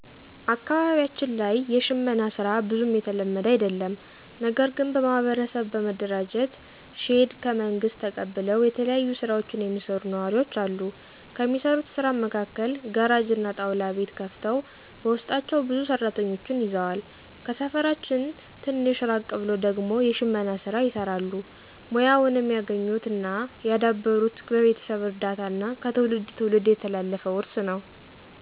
አካባቢያችን ላይ የሽመና ሥራ ብዙም የተለመደ አደለም። ነገርግን በማህበር በመደራጀት ሼድ ከመንግስት ተቀብለው የተለያዩ ስራዎችን የሚሰሩ ነዋሪወች አሉ። ከሚሰሩት ስራም መካከል ጋራጅ እና ጣውላ ቤት ከፍተው በውስጣቸው ብዙ ሰራተኞችን ይዘዋል። ከሰፈራችን ትንሽ ራቅ ብሎ ደግሞ የሽመና ሥራ ይሰራሉ። ሙያውንም ያገኙት እና ያዳበሩት በቤተሰብ እርዳታ እና ከትውልድ ትውልድ የተላለፈ ውርስ ነው።